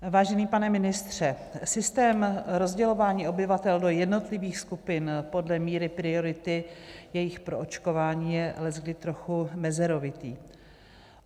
Vážený pane ministře, systém rozdělování obyvatel do jednotlivých skupin podle míry priority jejich proočkování je leckdy trochu mezerovitý.